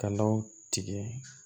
Kalaw tigɛ